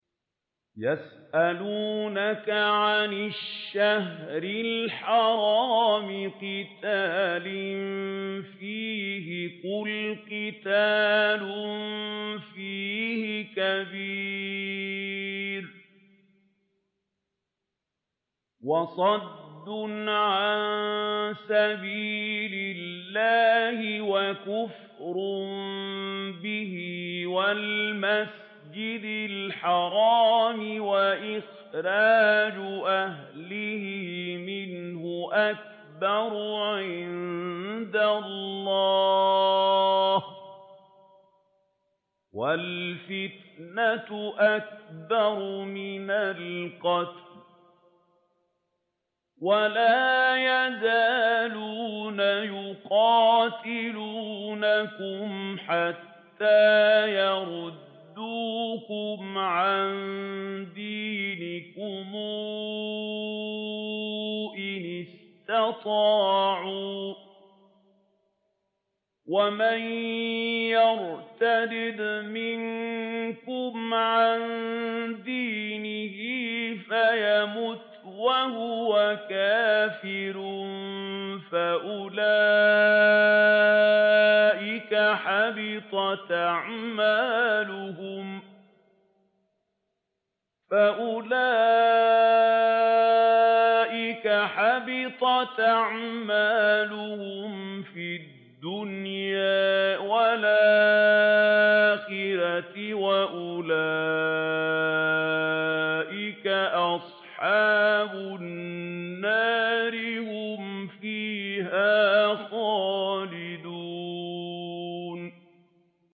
يَسْأَلُونَكَ عَنِ الشَّهْرِ الْحَرَامِ قِتَالٍ فِيهِ ۖ قُلْ قِتَالٌ فِيهِ كَبِيرٌ ۖ وَصَدٌّ عَن سَبِيلِ اللَّهِ وَكُفْرٌ بِهِ وَالْمَسْجِدِ الْحَرَامِ وَإِخْرَاجُ أَهْلِهِ مِنْهُ أَكْبَرُ عِندَ اللَّهِ ۚ وَالْفِتْنَةُ أَكْبَرُ مِنَ الْقَتْلِ ۗ وَلَا يَزَالُونَ يُقَاتِلُونَكُمْ حَتَّىٰ يَرُدُّوكُمْ عَن دِينِكُمْ إِنِ اسْتَطَاعُوا ۚ وَمَن يَرْتَدِدْ مِنكُمْ عَن دِينِهِ فَيَمُتْ وَهُوَ كَافِرٌ فَأُولَٰئِكَ حَبِطَتْ أَعْمَالُهُمْ فِي الدُّنْيَا وَالْآخِرَةِ ۖ وَأُولَٰئِكَ أَصْحَابُ النَّارِ ۖ هُمْ فِيهَا خَالِدُونَ